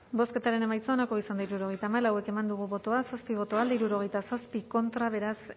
bozketaren emaitza onako izan da hirurogeita hamalau eman dugu bozka zazpi boto alde sesenta y siete contra beraz